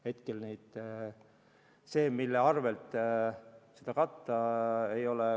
Hetkel ei ole kokku lepitud, mille arvelt seda katta.